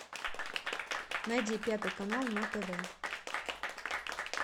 найди пятый канал на тв